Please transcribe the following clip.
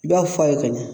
I b'a f'a ye ka ɲa